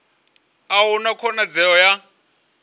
a hu na khonadzeo ya